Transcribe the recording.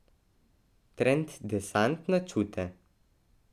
Trend Desant na čute.